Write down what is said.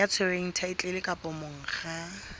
ya tshwereng thaetlele kapa monga